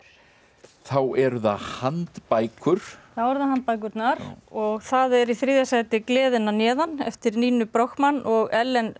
þá eru það handbækur þá eru það handbækurnar og það er í þriðja sæti gleðin að neðan eftir Ninu Brochmann og Ellen